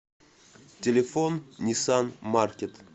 телефон ниссан маркет